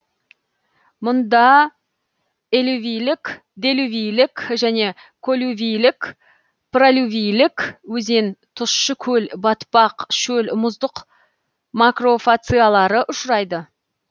мұнда элювийлік делювийлік және коллювийлік пролювийлік өзен тұщы көл батпақ шөл мұздық макрофациялары ұшырайды